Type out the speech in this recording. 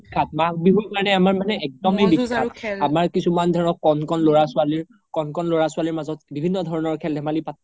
মাঘ বিহুৰ কাৰনে আমাৰ মানে একদমে বিখ্যাত আমাৰ কিছুমান ধৰক ক্'ন ক্'ন ল্'ৰা ছোৱালিৰ, ক্'ন ল্'ৰা ছোৱালিৰ মাজত বিভিন্ন ধৰণৰ খেল ধেমালি